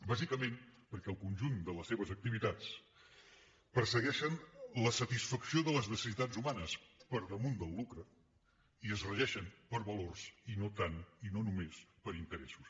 bàsicament perquè el conjunt de les seves activitats persegueixen la satisfacció de les necessitats humanes per damunt del lucre i es regeixen per valors i no tant i no només per interessos